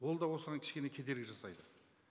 ол да осыған кішкене кедергі жасайды